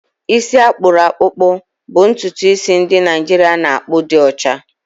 Isi akpuru akpukpo bụ ntutu isi ndị Naijiria na-akpụ di ocha.